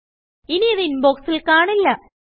ഇനിയിത് ഇൻബോക്സിൽ കാണില്ല